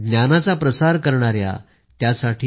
ज्ञानाचा प्रसार करणारे त्यासाठी